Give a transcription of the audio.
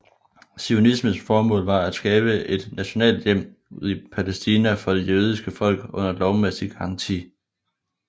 Zionismens formål var at skabe et nationalt hjem i Palæstina for det jødiske folk under lovmæssig garanti